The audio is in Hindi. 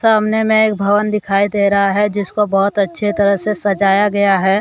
सामने मैं एक भवन दिखाई दे रहा है जिसको बहुत अच्छी तरह से सजाया गया है।